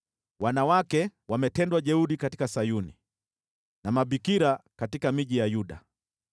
Wanawake wametendwa jeuri katika Sayuni, na mabikira katika miji ya Yuda.